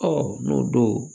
n'o don